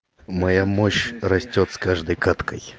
моя мощь растёт с каждой каткой